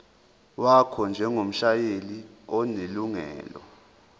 wakho njengomshayeli onelungelo